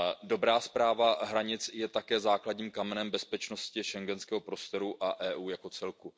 Dobrá správa hranic je také základních kamenem bezpečnosti schengenského prostoru a Evropské unie jako celku.